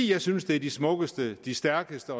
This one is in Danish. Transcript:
jeg synes det er de smukkeste og de stærkeste